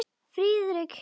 Friðrik hikaði.